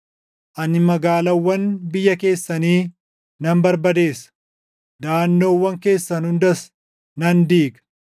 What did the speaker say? Ani magaalaawwan biyya keessanii nan barbadeessa; daʼannoowwan keessan hundas nan diiga.